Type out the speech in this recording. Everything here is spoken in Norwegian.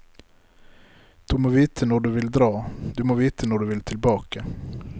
Du må vite når du vil dra, du må vite når du vil tilbake.